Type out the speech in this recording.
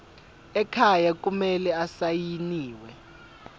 ekhaya kumele asayiniwe